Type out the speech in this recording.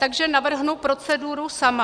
Takže navrhnu proceduru sama.